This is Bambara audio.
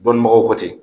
Dɔnnibagaw bɔ ten